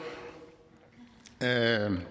det herre